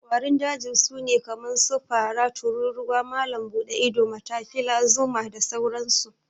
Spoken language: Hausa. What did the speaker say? ƙwarin Jeji sune kaman su, Fara, Tururuwa, Malam bude ido, Matafila zuma, da sauran su